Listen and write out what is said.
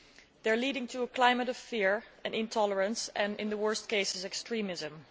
These are leading to a climate of fear and intolerance and, in the worst cases, extremism.